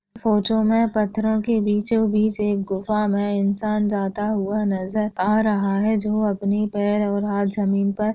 photo मे पत्थरो के बिचो बीच एक गुफा मे इंसान जाता हुआ नजर आ रहा हैं जो अपनी पैर और हात जमीन पर--